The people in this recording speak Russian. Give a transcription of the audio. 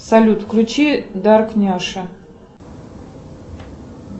салют включи дарк няша